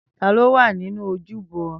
Tani o wa ninu ojúbọ?